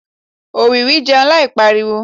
òwìwí jẹun láì pariwo